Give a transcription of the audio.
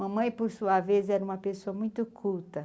Mamãe, por sua vez, era uma pessoa muito culta.